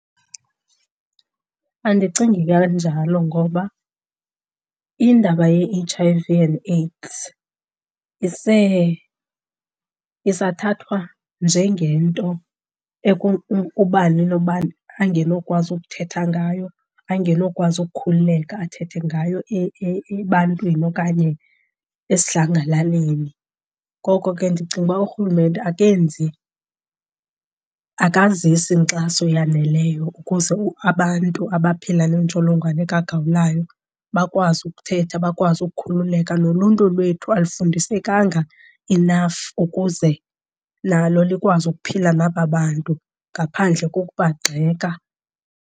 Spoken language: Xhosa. Andicingi kanjalo ngoba indaba ye-H_I_V and AIDS isathathwa njengento ubani nobani angenokwazi ukuthetha ngayo, angenokwazi ukukhululeka athethe ngayo ebantwini okanye esidlangalaleni. Ngoko ke ndicinga uba urhulumente akenzi, akazikisi nkxaso yaneleyo ukuze abantu abaphila nentsholongwane kagawulayo bakwazi ukuthetha, bakwazi ukukhululeka. Noluntu lwethu alufundisekanga enough ukuze nalo likwazi ukuphila naba bantu ngaphandle kokubagxeka.